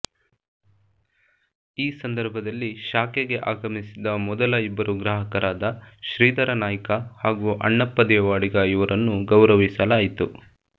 ಈ ಸಂದರ್ಭದಲ್ಲಿ ಶಾಖೆಗೆ ಆಗಮಿಸಿದ ಮದಲ ಇಬ್ಬರು ಗ್ರಾಹಕರಾದ ಶ್ರೀಧರ ನಾಯ್ಕ ಹಾಗೂ ಅಣ್ಣಪ್ಪ ದೇವಾಡಿಗ ಇವರನ್ನು ಗೌರವಿಸಲಾಯಿತು